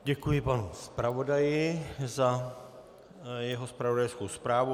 Děkuji panu zpravodaji za jeho zpravodajskou zprávu.